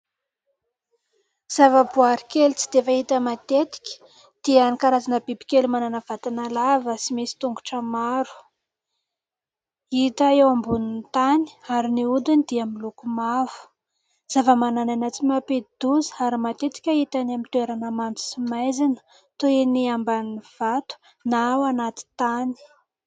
Zava-boary kely tsy dia fahita matetika dia ny karazana bibikely manana vatana lava sy misy tongotra maro. Hita eo ambonin'ny tany ary ny hodiny dia miloko mavo. Zavamananaina tsy mampidi-doza ary matetika hita any amin'ny toerana mando sy maizina toy ny ambany vato na ao anaty tany.